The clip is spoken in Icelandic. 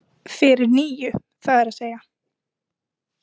Fyrir níu, það er að segja.